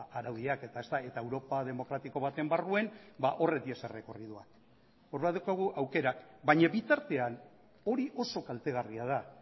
araudiak eta europa demokratiko baten barruan horiek dira orduan baditugu aukerak baina bitartean hori oso kaltegarria da